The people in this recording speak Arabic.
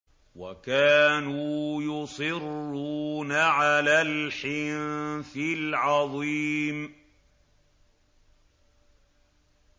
وَكَانُوا يُصِرُّونَ عَلَى الْحِنثِ الْعَظِيمِ